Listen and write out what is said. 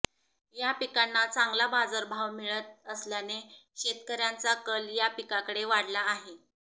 या पिकांना चांगला बाजारभाव मिळत असल्याने शेतकऱ्यांचा कल या पिकाकडे वाढला आहे